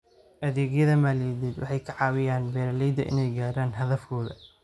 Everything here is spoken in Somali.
Adeegyada maaliyadeed waxay ka caawiyaan beeralayda inay gaadhaan hadafkooda.